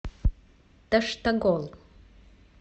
таштагол